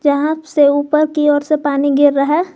जहाँ से ऊपर की ओर से पानी गिर रहा है।